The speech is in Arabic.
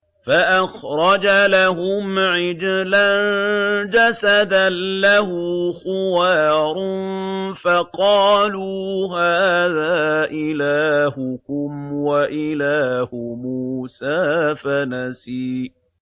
فَأَخْرَجَ لَهُمْ عِجْلًا جَسَدًا لَّهُ خُوَارٌ فَقَالُوا هَٰذَا إِلَٰهُكُمْ وَإِلَٰهُ مُوسَىٰ فَنَسِيَ